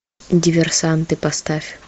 диверсанты поставь